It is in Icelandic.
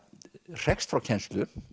hrekst frá kennslu